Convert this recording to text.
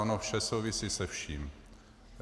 Ono vše souvisí se vším.